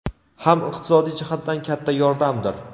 ham iqtisodiy jihatdan katta yordamdir.